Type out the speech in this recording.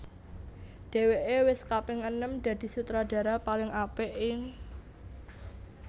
Dhèwèké wis kaping enem dadi Sutradara paling apik ing